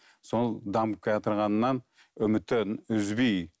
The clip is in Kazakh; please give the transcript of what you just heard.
сол дамып келатырғаннан үмітін үзбей